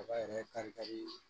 Kaba yɛrɛ kari kari